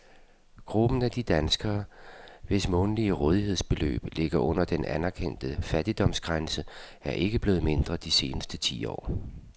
Gruppen af danskere, hvis månedlige rådighedsbeløb ligger under den anerkendte fattigdomsgrænse, er ikke blevet mindre de seneste ti år.